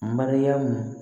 Mariyamu